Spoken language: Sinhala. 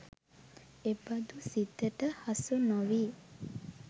එබඳු සිතට හසු නොවී